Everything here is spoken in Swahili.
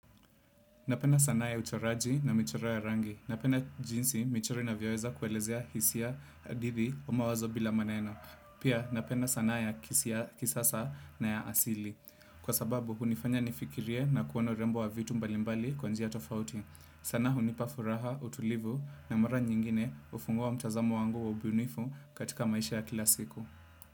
Napenda sanaa ya uchoraji na michoro ya rangi. Napenda jinsi michoro inavyoweza kuelezea hisia, hadithi na mawazo bila maneno. Pia napenda sanaa ya kisasa na ya asili. Kwa sababu hunifanya nifikirie na kuona urembo wa vitu mbalimbali kwa njia tofauti. Sanaa hunipa furaha, utulivu na mara nyingine hufungua mtazamo wangu wa ubunifu katika maisha ya kila siku.